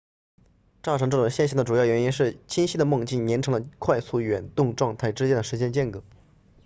造成这种现象的主要原因是清晰的梦境延长了快速眼动状态之间的时间间隔